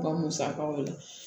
U ka musakaw la